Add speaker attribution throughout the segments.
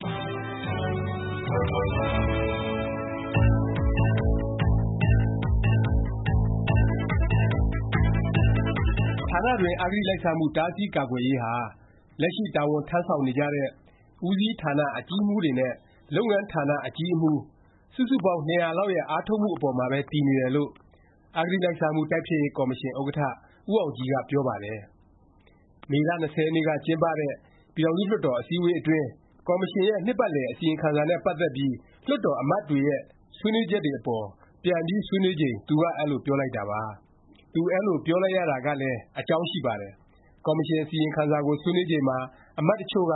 Speaker 1: ဌာနတွင်း အဂတိလိုက်စားမှု တားဆီးကာကွယ်ရေးဟာ လက်ရှိ တာဝန်ထမ်းဆောင်နေကြတဲ့ ဦးစီးဌာန အကြီးအမှူးတွေနဲ့ လုပ်ငန်းဌာန အကြီးအမှူး စုစုပေါင်း ၂၀၀ လောက်ရဲ့ အားထုတ်မှု အပေါ်မှာပဲ တည်နေတယ်လို့ အဂတိလိုက်စားမှု တိုက်ဖျက်ရေး ကော်မရှင် ဥက္ကဌ ဦးအောင်ကြည်က ပြောပါတယ်။ မေလ ၂၀ ရက်နေ့က ကျင်းပတဲ့ ပြည်ထောင်စု လွှတ်တော် အစည်းအဝေး အတွင်း ကော်မရှင်ရဲ့ နှစ်ပတ်လည် အစီရင်ခံစာနဲ့ ပတ်သက်ပြီး လွှတ်တော် အမတ်တွေရဲ့ ဆွေးနွေးချက်တွေ အပေါ် ပြန်ပြီး ဆွေးနွေးချိန် သူက အဲလို ပြောလိုက်တာပါ။ သူအဲလို ပြောလိုက်ရတာကလည်း အကြောင်းရှိပါတယ်။ ကော်မရှင် အစီရင်ခံစာကို ဆွေးနွေးချိန်မှာ အမတ် တစ်ချို့က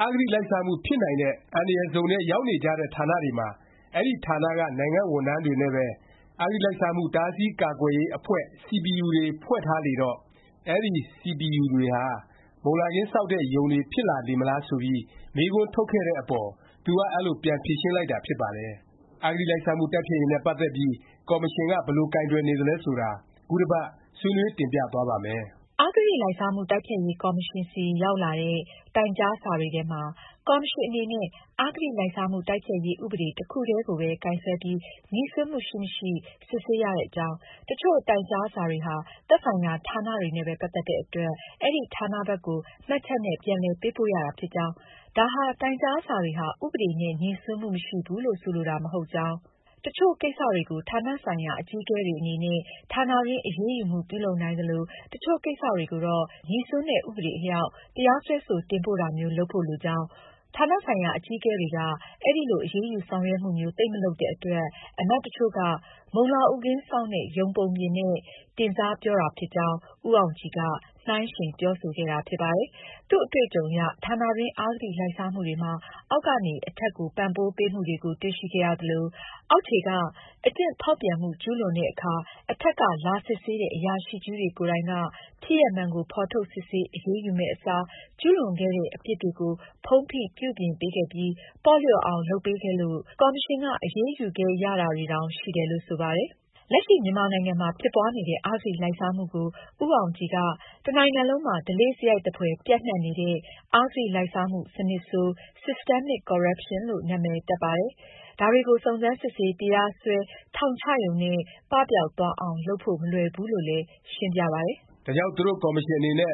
Speaker 1: အဂတိလိုက်စားမှု ဖြစ်နိုင်တဲ့ အန္တရာယ်ဇုံထဲ ရောက်နေကြတဲ့ ဌာနတွေမှာ အဲဒီ ဌာနက နိုင်ငံ့ဝန်ထမ်းတွေနဲ့ပဲ “ အဂတိလိုက်စားမှု တားဆီး ကာကွယ်ရေး အဖွဲ့CPU” တွေ ဖွဲ့ထားလေတော့ အဲဒီ CPU တွေဟာ မုန်လာခင်းစောင့်တဲ့ ယုန်တွေ ဖြစ်လာလေမလား ဆိုပြီး မေးခွန်းထုတ်ခဲ့တဲ့အပေါ် သူက အဲလို ပြန်ဖြေရှင်းလိုက်တာ ဖြစ်ပါတယ်။ အဂတိလိုက်စားမှု တိုက်ဖျက်ရေးနဲ့ ပတ်သက်ပြီး ကော်မရှင်က ဘယ်လို ကိုင်တွယ်နေသလဲ ဆိုတာ ခုတစ်ပတ် ဆွေးနွေး တင်ပြသွားပါ့မယ်။
Speaker 2: အဂတိလိုက်စားမှု တိုက်ဖျက်ရေး ကော်မရှင်ဆီ ရောက်လာတဲ့ တိုင်ကြားစာတွေထဲမှာ ကော်မရှင် အနေနဲ့ “အဂတိလိုက်စားမှု တိုက်ဖျက်ရေး ဥပဒေ” တစ်ခုတည်းကိုပဲ ကိုင်စွဲပြီး ငြိစွန်းမှု ရှိမရှိ စစ်ဆေးရတဲ့အကြောင်း၊ တစ်ချို့ တိုင်ကြားစာတွေဟာ သက်ဆိုင်ရာ ဌာနတွေနဲ့ပဲ ပတ်သက်တဲ့ အတွက် အဲဒီ ဌာန ဘက်ကို မှတ်ချက်နဲ့ ပြန်လည်ပေးပို့ရတာ ဖြစ်ကြောင်း၊ ဒါဟာ တိုင်ကြားစာတွေဟာ ဥပဒေ နဲ့ ငြိစွန်းမှု မရှိဘူးလို့ ဆိုလိုတာ မဟုတ်ကြောင်း၊ တစ်ချို့ ကိစ္စတွေကို ဌာနဆိုင်ရာ အကြီးအကဲတွေ အနေနဲ့ ဌာနတွင်း အရေးယူမှု ပြုလုပ်နိုင်သလို၊ တစ်ချို့ ကိစ္စတွေကိုတော့ ငြိစွန်းတဲ့ ဥပဒေ အလျောက် တရားစွဲဆို တင်ပို့တာမျိုး လုပ်ဖို့ လိုကြောင်း ၊ ဌာနဆိုင်ရာ အကြီးအကဲတွေက အဲလို အရေးယူဆောင်ရွက်မှုမျိုး သိပ်မလုပ်တဲ့ အတွက် အမတ်တစ်ချို့က မုံလာဥခင်း စောင့်တဲ့ ယုန် ပုံပြင်နဲ့ တင်စားပြောတာဖြစ်ကြောင်း ဦးအောင်ကြည်က နှိုင်းယှဉ် ပြောဆိုခဲ့တာ ဖြစ်ပါတယ်။ သူ့အတွေ့အကြုံအရ ဌာနတွင်း အဂတိလိုက်စားမှုတွေမှာ အောက်ကနေ အထက်ကို ပံ့ပိုးပေးမှုတွေကို တွေ့ရှိခဲ့ရသလို၊ အောက်ခြေက အကျင့်ဖောက်ပြန်မှု ကျူးလွန်တဲ့အခါ အထက်က လာစစ်ဆေးတဲ့ အရာရှိကြီးတွေကိုယ်တိုင်က ဖြစ်ရပ်မှန်ကို ဖော်ထုတ် စစ်ဆေး အရေးယူရမယ့်အစား ကျူးလွန်ခဲ့တဲ့ အပြစ်တွေကို ဖုံးဖိ ပြုပြင်ပေးခဲ့ပြီး ပေါ့လျော့အောင် လုပ်ပေးခဲ့လို့ ကော်မရှင်က အရေးယူခဲ့ရတာတွေတောင် ရှိတယ်လို့ ဆိုပါတယ်။ လက်ရှိ မြန်မာနိုင်ငံမှာ ဖြစ်ပွားနေတဲ့ အဂတိလိုက်စားမှုကို ဦးအောင်ကြည်က “ တစ်နိုင်ငံလုံးမှာ ဓလေ့စရိုက်သဖွယ် ပျံ့နှံ့နေတဲ့ အဂတိလိုက်စားမှု စနစ်ဆိုး (Systemic corruption)” လို့ နာမည်တပ်ပါတယ်။ ဒါတွေကို စုံစမ်း၊ စစ်ဆေး၊ တရားစွဲ၊ ထောင်ချရုံနဲ့ ပပျောက်သွားအောင် လုပ်ဖို့ မလွယ်ဘူးလို့လည်း ရှင်းပြပါတယ်
Speaker 1: ။ ဒါကြောင့် သူတို့ ကော်မရှင်အနေနဲ့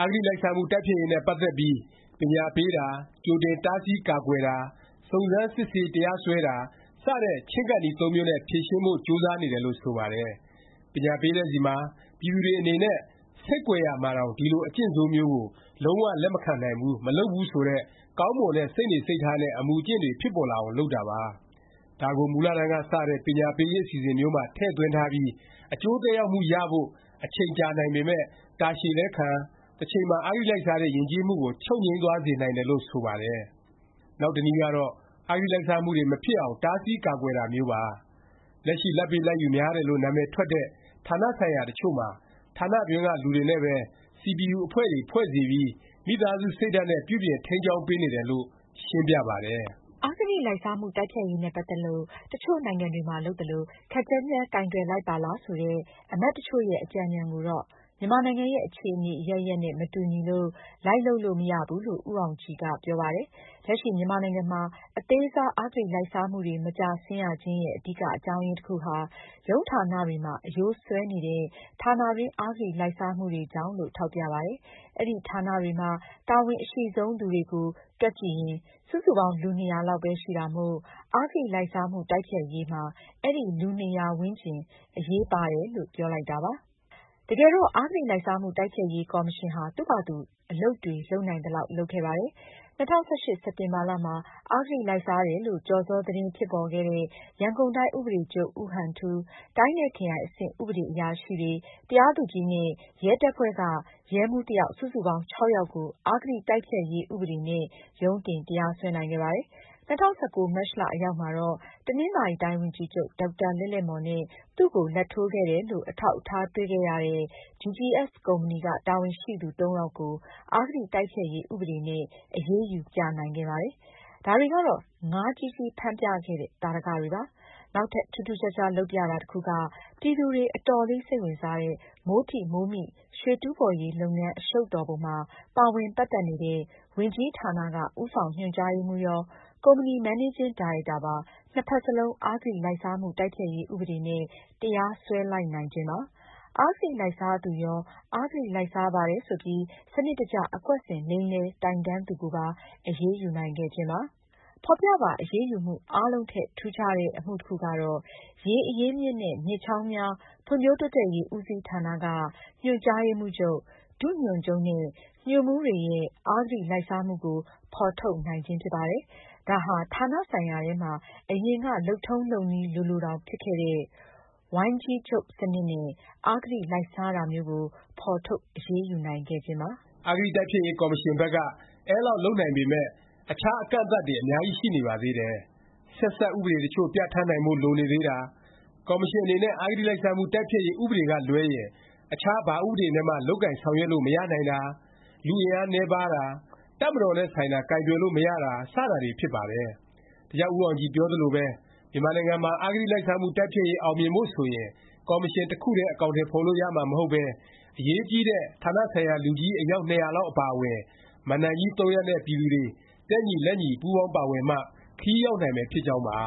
Speaker 1: အဂတိလိုက်စားမှု တိုက်ဖျက်ရေးနဲ့ ပတ်သက်ပြီး ပညာပေးတာ၊ ကြိုတင်တားဆီး ကာကွယ်တာ၊ စုံစမ်းစစ်ဆေး တရားစွဲတာ စတဲ့ ချဉ်းကပ်နည်း သုံးမျိုးနဲ့ ဖြေရှင်းဖို့ ကြိုးစားနေတယ်လို့ ဆိုပါတယ်။ ပညာပေးတဲ့ဆီမှာ ပြည်သူတွေ အနေနဲ့ ဆိတ်ကွယ်ရာမှာတောင် ဒီလို အကျင့်ဆိုးမျိုးကို လုံး၀ လက်မခံဘူး၊ မလုပ်ဘူး ဆိုတဲ့ ကောင်းမွန်တဲ့ စိတ်နေစိတ်ထားနဲ့ အမူအကျင့်တွေ ဖြစ်ပေါ်လာအောင် လုပ်တာပါ။ ဒါကို မူလတန်းက စတဲ့ ပညာပေးရေး အစီအစဉ်မျိုးမှာ ထည့်သွင်းထားပြီး အကျိုးသက်ရောက်မှုရဖို့ အချိန်ကြာနိုင်ပေမယ့် တာရှည်လည်းခံ၊ တစ်ချိန်မှာ အဂတိလိုက်စားတဲ့ ယဉ်ကျေးမှုကို ချုပ်ငြိမ်းသွားစေနိုင်တယ်လို့ ဆိုပါတယ်။ နောက်တနည်းကတော့ အဂတိလိုက်စားမှုတွေ မဖြစ်အောင် တားဆီးကာကွယ်တာမျိုးပါ။ လက်ရှိ လာဘ်ပေးလာဘ်ယူများတယ်လို့ နာမည်ထွက်တဲ့ ဌာနဆိုင်ရာ တစ်ချို့မှာ ဌာနတွင်းက လူတွေနဲ့ပဲ CPU အဖွဲ့တွေ ဖွဲ့စေပြီး မိသားစု စိတ်ဓာတ်နဲ့ ပြုပြင်ထိန်းကျောင်းပေးနေတယ် လို့ ရှင်းပြပါတယ်
Speaker 2: ။ အဂတိလိုက်စားမှု တိုက်ဖျက်ရေးနဲ့ ပတ်သက်ပြီး တစ်ချို့နိုင်ငံတွေမှာ လုပ်သလို ခပ်ကြမ်းကြမ်း ကိုင်တွယ်လိုက်ပါလား ဆိုတဲ့ အမတ်တစ်ချို့ရဲ့ အကြံဉာဏ်ကိုတော့ မြန်မာနိုင်ငံရဲ့ အခြေအနေ အရပ်ရပ်နဲ့ မတူညီလို့ လိုက်လုပ်လို့ မရဘူး လို့ ဦးအောင်ကြည်က ပြောပါတယ်။ လက်ရှိ မြန်မာနိုင်ငံမှာ အသေးစား အဂတိလိုက်စားမှုတွေ မကျဆင်းရခြင်းရဲ့ အဓိက အကြောင်းရင်း တစ်ခုဟာ ရုံးဌာနတွေမှာ အရိုးစွဲနေတဲ့ ဌာနတွင်း အဂတိလိုက်စားမှုတွေကြောင့်လို့ ထောက်ပြပါတယ်။ အဲဒီ ဌာနတွေမှာ တာဝန်အရှိဆုံးသူတွေကို တွက်ကြည့်ရင် စုစုပေါင်း လူ ၂၀၀ လောက်ပဲ ရှိတာမို့ အဂတိလိုက်စားမှု တိုက်ဖျက်ရေးမှာ အဲဒီလူ ၂၀၀ ဝန်းကျင် အရေးပါတယ်လို့ ပြောလိုက်တာပါ။ တကယ်တော့ အဂတိလိုက်စားမှု တိုက်ဖျက်ရေး ကော်မရှင်ဟာ သူ့ဖာသာသူ အလုပ်တွေ လုပ်နိုင်သလောက် လုပ်ခဲ့ပါတယ်။ ၂၀၁၈ စက်တင်ဘာမှာ အဂတိလိုက်စားတယ်လို့ ကျော်စော သတင်း ဖြစ်ပေါ်ခဲ့တဲ့ ရန်ကုန်တိုင်း ဥပဒေချုပ် ဦးဟန်ထူး၊ တိုင်း နဲ့ ခရိုင် အဆင့် ဥပဒေအရာရှိတွေ၊ တရားသူကြီး နဲ့ ရဲတပ်ဖွဲ့က ရဲမှူး တစ်ယောက် စုစုပေါင်း (၆) ယောက်ကို အဂတိတိုက်ဖျက်ရေး ဥပဒေနဲ့ ရုံးတင် တရားစွဲနိုင်ခဲ့ပါတယ်။ ၂၀၁၉ မတ်လ အရောက်မှာတော့ တနင်္သာရီတိုင်း ဝန်ကြီးချုပ် ဒေါက်တာ လဲ့လဲ့မော်နဲ့ သူ့ကို လာဘ်ထိုးခဲ့တယ်လို့ အထောက်အထား တွေ့ရတဲ့ GGS ကုမ္ပဏီက တာဝန်ရှိသူ ၃ ယောက်ကို အဂတိ တိုက်ဖျက်ရေး ဥပဒေနဲ့ အရေးယူ ပြနိုင်ခဲ့ပါတယ်။ ဒါတွေကတော့ ငါးကြီးကြီး ဖမ်းပြခဲ့တဲ့ သာဓကတွေပါ။ နောက်ထပ် ထူးထူးခြားခြား လုပ်ပြတာ တစ်ခုက ပြည်သူတွေ အတော်လေးစိတ်ဝင်စားတဲ့ မိုးထိမိုးမိ ရွှေတူးဖော်ရေး လုပ်ငန်း အရှုပ်တော်ပုံမှာ ပါဝင်ပတ်သက်နေတဲ့ ဝန်ကြီးဌာနက ဦးဆောင်ညွှန်ကြားရေးမှူးရော၊ ကုမ္ပဏီ မန်နေးဂျင်း ဒါရိုက်တာပါ နှစ်ဖက်စလုံး အဂတိလိုက်စားမှု တိုက်ဖျက်ရေး ဥပဒေ နဲ့ တရားစွဲ လိုက်နိုင်ခြင်းပါ။ အဂတိလိုက်စားသူရော၊ အဂတိလိုက်စားပါတယ် ဆိုပြီး စနစ်တကျ အကွက်ဆင် လိမ်လည် တိုင်တန်းသူကိုပါ အရေးယူနိုင်ခဲ့ခြင်းပါ။ ဖော်ပြပါ အရေးယူမှု အားလုံးထက် ထူးခြားတဲ့ အမှုတစ်ခုကတော့ ရေအရင်းအမြစ်နဲ့ မြစ်ချောင်းများ ဖွံ့ဖြိုးတိုးတက်ရေး ဦးစီးဌာနက ညွှန်ကြားရေးမှူးချုပ်၊ ဒုညွှန်ချုပ်နဲ့ ညွှန်မှူးတွေရဲ့အဂတိလိုက်စားမှုကို ဖော်ထုတ်နိုင်ခြင်းပါ။ ဒါဟာ ဌာနဆိုင်ရာထဲမှာ အရင်က လုပ်ထုံးလုပ်နည်း လိုလိုတောင် ဖြစ်ခဲ့တဲ့ ဝိုင်းကြီးချုပ် စနစ်နဲ့ အဂတိလိုက်စားတာမျိုးကို ဖော်ထုတ် အရေးယူနိုင်ခဲ့ခြင်းပါ
Speaker 1: ။ အဂတိ တိုက်ဖျက်ရေး ကော်မရှင်ဘက်က အဲလောက် လုပ်နိုင်ပေမယ့် အခြား အကန့်အသတ်တွေ အများကြီး ရှိနေပါသေးတယ်။ ဆက်စပ် ဥပဒေတစ်ချို့ ပြဌာန်းနိုင်ဖို့ လိုနေသေးတာ၊ ကော်မရှင် အနေနဲ့ အဂတိလိုက်စားမှု တိုက်ဖျက်ရေး ဥပဒေ ကလွဲရင် အခြားဘာဥပဒေ နဲ့မှ လုပ်ကိုင် ဆောင်ရွက်လို့ မရနိုင်တာ၊ လူအင်အားနည်းပါးတာ၊ တပ်မတော်နဲ့ ဆိုင်တာ ကိုင်တွယ်လို့ မရတာ စတာတွေ ဖြစ်ပါတယ်။ ဒါကြောင့် ဦးအောင်ကြည် ပြောသလိုပဲ မြန်မာနိုင်ငံမှာ အဂတိလိုက်စားမှု တိုက်ဖျက်ရေး အောင်မြင်ဖို့ ဆိုရင် ကော်မရှင် တစ်ခုတည်း အကောင်အထည် ဖော်လို့ ရမှာ မဟုတ်ပဲ အရေးကြီးတဲ့ ဌာနဆိုင်ရာ လူကြီး အယောက် ၂၀၀ လောက် အပါအဝင် မဏ္ဍိုင်ကြီး ၃ ရပ် နဲ့ ပြည်သူတွေ တက်ညီလက်ညီ ပူးပေါင်းပါဝင်မှ ခရီးရောက်နိုင်မယ် ဖြစ်ကြောင်းပါ။